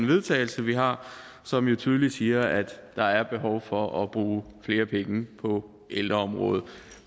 vedtagelse vi har som jo tydeligt siger at der er behov for at bruge flere penge på ældreområdet